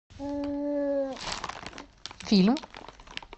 фильм